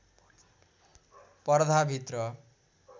पर्दाभित्र